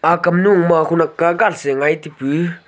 ak kamnu ma khonak kagas ngai taipu.